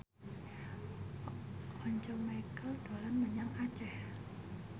Once Mekel dolan menyang Aceh